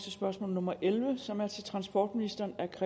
aarhus